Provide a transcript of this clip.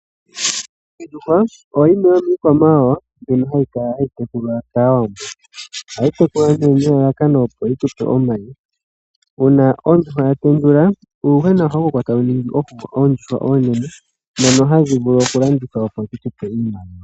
Ondjuhwa oyo yimwe yomiikwamawawa mbyono hayi tekulwa kaawambo. Ohayi tekulwa nee nelalakano opo yi tupe omayi. Uuna ondjuhwa ya tendula, uuyuhwena ohawu koko etawu ningi po oondjuhwa oonene, dhono hadhi vulu oku landithwa opo dhi tupe iimaliwa.